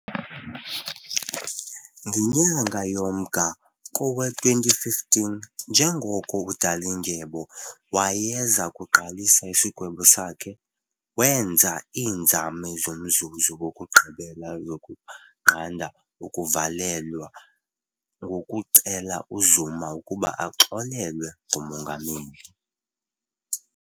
Ngenyanga yoMnga kngowe2015, njengoko uDalindyebo wayeza kuqalisa isigwebo sakhe, wenza iinzame zomzuzu wokugqibela zokunqanda ukuvalelwa ngokucela uZuma ukuba axolelwe ngumongameli .